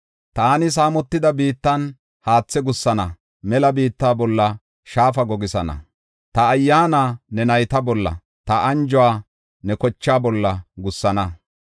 Taani saamotida biittan haatha gussana; mela biitta bolla shaafa gogisana. Ta Ayyaana ne nayta bolla, ta anjuwa ne kochaa bolla gussana.